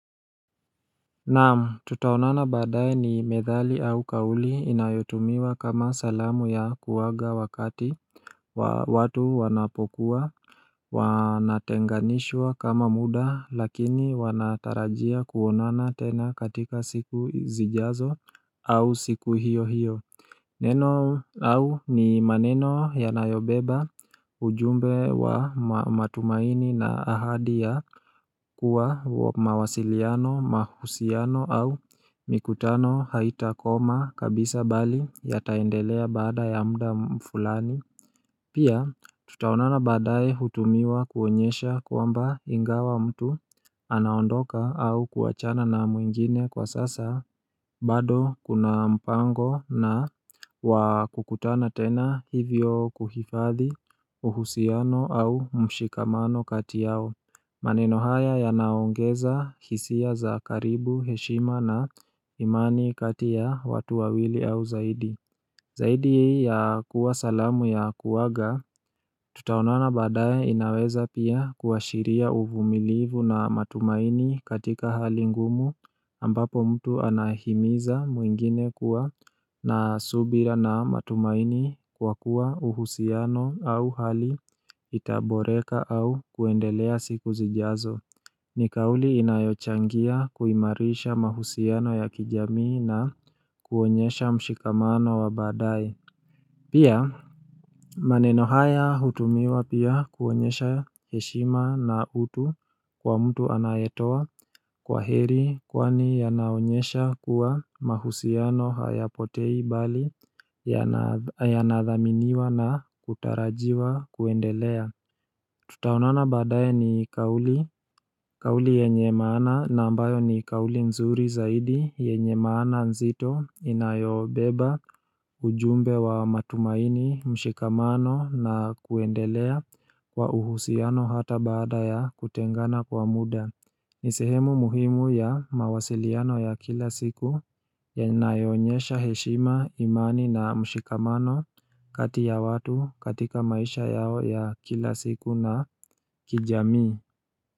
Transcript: Naam tutaonana baadaye ni methali au kauli inayotumiwa kama salamu ya kuwaaga wakati wa watu wanapokuwa wanatenganishwa kama muda lakini wanatarajia kuonana tena katika siku zijazo au siku hiyohiyo Neno au ni maneno yanayobeba ujumbe wa matumaini na ahadi ya kuwa mawasiliano, mahusiano au mikutano haitakoma kabisa bali yataendelea baada ya muda fulani Pia tutaonana baadaye hutumiwa kuonyesha kwamba ingawa mtu anaondoka au kuachana na mwingine kwa sasa bado kuna mpango na wakukutana tena hivyo kuhifadhi uhusiano au mshikamano kati yao maneno haya yanaongeza hisia za karibu, heshima na imani kati ya watu wawili au zaidi Zaidi ya kuwa salamu ya kuaga, tutaonana baadaye inaweza pia kuashiria uvumilivu na matumaini katika hali ngumu ambapo mtu anahimiza mwingine kuwa na subira na matumaini kwa kuwa uhusiano au hali itaboreka au kuendelea siku zijazo. Ni kauli inayochangia kuimarisha mahusiano ya kijamii na kuonyesha mshikamano wa baadaye Pia maneno haya hutumiwa pia kuonyesha heshima na utu kwa mtu anayetoa kwaheri kwani yanaonyesha kuwa mahusiano hayapotei bali yana ya nathaminiwa na kutarajiwa kuendelea Tutaonana baadaye ni kauli, kauli yenye maana na ambayo ni kauli nzuri zaidi, yenye maana nzito, inayobeba, ujumbe wa matumaini, mshikamano na kuendelea kwa uhusiano hata baada ya kutengana kwa muda. Ni sehemu muhimu ya mawasiliano ya kila siku yanayoonyesha heshima imani na mshikamano kati ya watu, katika maisha yao ya kila siku na kijamii.